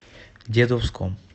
дедовском